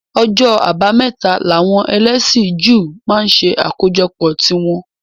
Ọjọ́ abámẹ́ta làwọn ẹlẹ́sìn Júù máa ń ṣe àkójọpọ̀ tí wọn